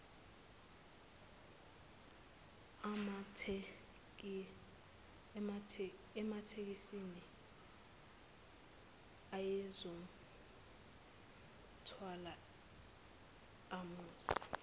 ematekisini ayezomthwala amuse